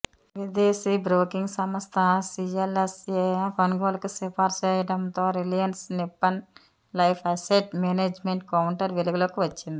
విదేశీ బ్రోకింగ్ సంస్థ సీఎల్ఎస్ఏ కొనుగోలుకి సిఫారసు చేయడంతో Reliance Nippon Life Asset Management counter వెలుగులొకి వచ్చింది